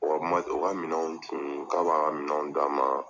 O ka mat o ka minɛnw tun, k'a b'a minɛnw d'a ma